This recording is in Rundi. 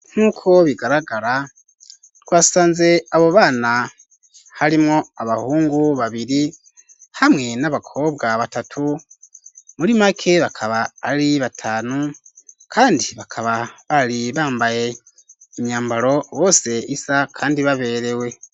Nkuko bigaragara twasanze abo bana harimwo abahungu babiri hamwe n'abakobwa batatu muri make bakaba ari batanu kandi bakaba bari bambaye imyambaro bose isa kandi baberewe.